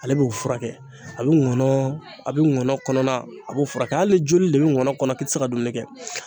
Ale b'o furakɛ a be ŋɔnɔɔ a be ŋɔnɔ kɔnɔna a b'o furakɛ hali joli de be ŋɔnɔ kɔnɔ k'i ti se ka dumuni kɛ.